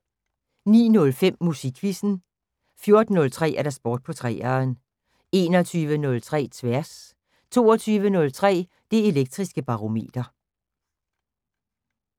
09:05: Musikquizzen 14:03: Sport på 3'eren 21:03: Tværs 22:03: Det Elektriske Barometer